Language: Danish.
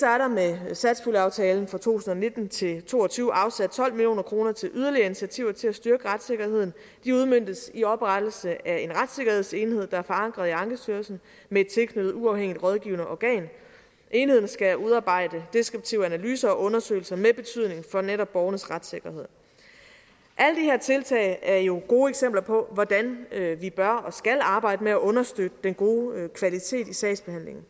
er der med satspuljeaftalen for to tusind og nitten til to og tyve afsat tolv million kroner til yderligere initiativer til at styrke retssikkerheden de udmøntes i oprettelse af en retssikkerhedsenhed der er forankret i ankestyrelsen med et tilknyttet uafhængigt rådgivende organ enheden skal udarbejde deskriptive analyser og undersøgelser med betydning for netop borgernes retssikkerhed alle de her tiltag er jo gode eksempler på hvordan vi bør og skal arbejde med at understøtte den gode kvalitet i sagsbehandlingen